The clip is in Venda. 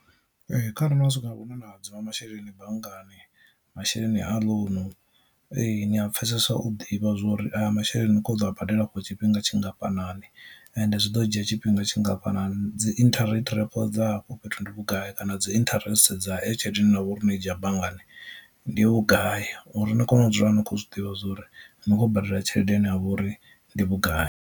Ee, kha re no swika hune na hadzima masheleni banngani masheleni a ḽounu ee ni a pfhesesa u ḓivha zwori aya masheleni ni kho ḓo a badela for tshifhinga tshingafhanani, ende zwi ḓo dzhia tshifhinga tshingafhanani dzi interest repo dza afho fhethu ndi vhugai kana dzi interest dza eyo tshelede ine na vhori no i dzhia banngani ndi vhugai uri ni kone u dzula ni khou zwi ḓivha zwori ni khou badela tshelede ine ya vhori ndi vhugai.